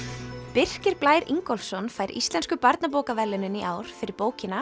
Birkir Blær Ingólfsson fær Íslensku barnabókaverðlaunin í ár fyrir bókina